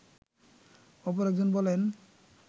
অপর একজন বলেন